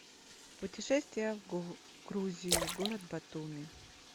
путешествие в грузию город батуми